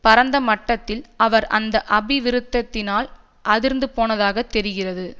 பரந்தமட்டத்தில் அவர் அந்த அபிவிருத்ததியினால் அதிர்ந்துபோனதாக தெரிகிறது